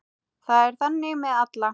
Það er þannig með alla.